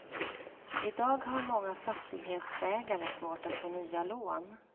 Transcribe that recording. I dag har många fastighetsägare svårt att få nya lån.